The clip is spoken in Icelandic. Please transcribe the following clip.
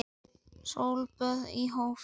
Sólböð í hófi.